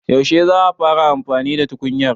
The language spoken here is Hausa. Yaushe za a fara amfani da tukunyar